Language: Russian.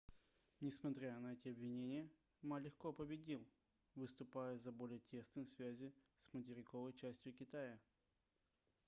несмотря на эти обвинения ма легко победил выступая за более тесные связи с материковой частью китая